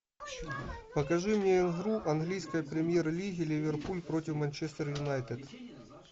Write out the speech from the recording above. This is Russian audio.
покажи мне игру английской премьер лиги ливерпуль против манчестер юнайтед